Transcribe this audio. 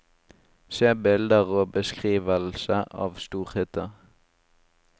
Se bilder og beskrivelse av storhytta.